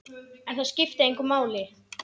En það skipti engu máli.